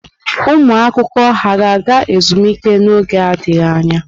ụmụ akwụkwọ ha ga-aga ezumike n'oge adịghị anya?